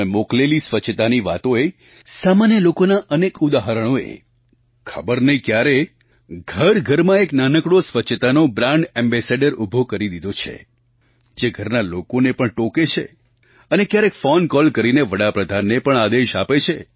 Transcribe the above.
તમે મોકલેલી સ્વચ્છતાની વાતોએ સામાન્ય લોકોનાં અનેક ઉદાહરણોએ ખબર નહીં ક્યારે ઘરઘરમાં એક નાનકડો સ્વચ્છતાનો બ્રાન્ડ ઍમ્બેસેડર ઊભો કરી દીધો છે જે ઘરના લોકોને પણ ટોકે છે અને ક્યારેક ફૉન કૉલ કરીને વડા પ્રધાનને પણ આદેશ આપે છે